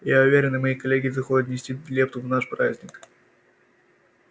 я уверен и мои коллеги захотят внести лепту в наш праздник